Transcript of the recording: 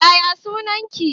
Yaya sunan ki